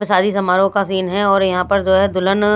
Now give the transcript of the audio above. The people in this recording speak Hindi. शादी समारोह का सीन है और यहां पर ज़ोय दुल्हन--